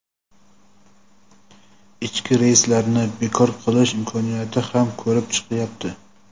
ichki reyslarni bekor qilish imkoniyati ham ko‘rib chiqilyapti.